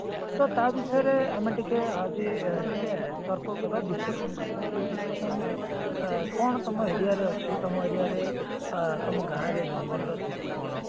ତ ତା ବିଷୟରେ ଆମେ ଟିକେ ଆଜି ଟିକେ ତର୍କ କରିବା discussion କରିବା ଯୋଉ discussion ରେ ଅ କଣ ତମ aria ରେ ଅଛି ତମ aria ରେ ଅ ତମ ଗାଁ ରେ ଜଙ୍ଗଲ ର ସ୍ଥିତି କଣ